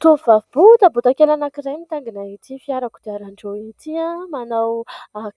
tovabota bodakely anankizay mitangina ity fiarako diaran-drio itya manao